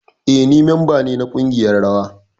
Eh, ni memba ne na kungiyar rawa.